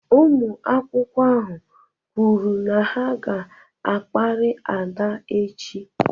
Ụmụ akwụkwọ ahụ kwuru na ha ga-akparị Ada echi.